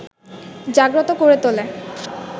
জাগ্রত করে তোলে